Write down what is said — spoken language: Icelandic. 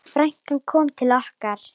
Frænkan kom til okkar.